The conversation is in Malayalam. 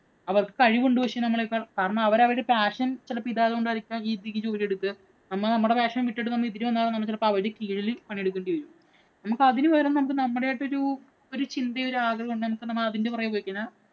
അവര്‍ക്ക് കഴിവുണ്ട് പക്ഷേ നമ്മളെക്കാള്‍. കാരണം അവര് അവരുടെ passion ചെലപ്പോ ഇതായത് കൊണ്ടായിരിക്കാം ഈ ജോലിയെടുക്കുക. നമ്മ നമ്മടെ passion വിട്ടിട്ടു നമ്മ ഇതിനു വന്നാ ചിലപ്പോ അവരുടെ കീഴില് പണിയെടുക്കേണ്ടി വരും. നമുക്ക് അതിനു പകരം നമുക്ക് നമ്മുടേതായിട്ടൊരു ഒരു ചിന്തയും, ഒരാഗ്രഹവും ഉണ്ടെങ്കില്‍ നമക്ക് നമ്മള്‍ അതിന്‍റെ പുറകെ പോയിക്കഴിഞ്ഞാല്‍